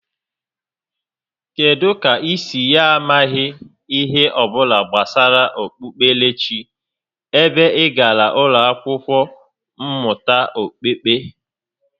Kedụ kà i si ya amaghị ihe ọbụla gbasara okpukperechi ebe ị gàrà ụlọ akwụkwọ mmụta okpukpe?